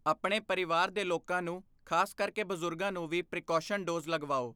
ਆਪਣੇ ਪਰਿਵਾਰ ਦੇ ਲੋਕਾਂ ਨੂੰ, ਖਾਸ ਕਰਕੇ ਬਜ਼ੁਰਗਾਂ ਨੂੰ ਵੀ ਪ੍ਰੀਕੌਸ਼ਨ ਡੋਜ਼ ਲਗਵਾਓ।